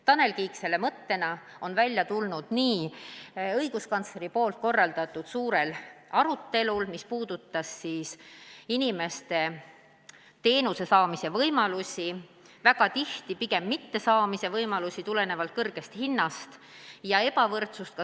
Tanel Kiik tuli selle mõttega välja õiguskantsleri korraldatud suurel arutelul, mis puudutas inimeste teenuste saamise võimalusi, õigemini väga tihti pigem teenuste mittesaamist nende kõrge hinna tõttu.